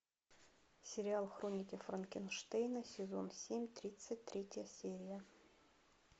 сериал хроники франкенштейна сезон семь тридцать третья серия